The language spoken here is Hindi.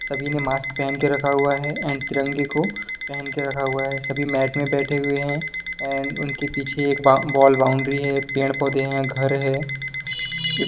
--सभी ने मार्क्स पेहन के रखा हुआ हैं एंड तिरंगे को पेहन के रखा हुआ है सभी मैट पे बैठे हुए हैं एंड उन के पीछे एक बॉउंड्री है पेड़ पौधे है घर हैं।